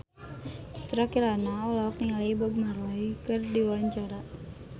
Citra Kirana olohok ningali Bob Marley keur diwawancara